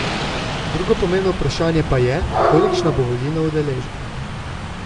Drugo pomembno vprašanje pa je, kolikšna bo volilna udeležba.